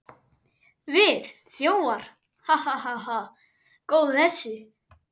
Við þjófar, ha, ha, ha. góður þessi!